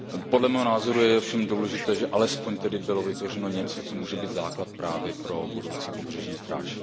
Podle mého názoru je ovšem důležité, že alespoň tedy bylo vytvořeno něco, co může být základ právě pro budoucí pobřežní stráž.